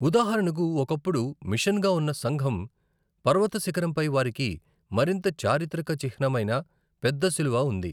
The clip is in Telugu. ఉదాహరణకు ఒకప్పుడు మిషన్గా ఉన్న సంఘం, పర్వత శిఖరంపై వారికి మరింత చారిత్రక చిహ్నమైన పెద్ద సిలువ ఉంది.